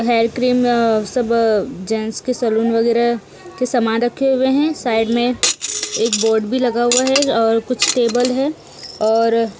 hair cream सब gents के salon के सामान रखे हुए हैं साइड में एक बोड भी लगा हुआ है और कुछ टेबल है और--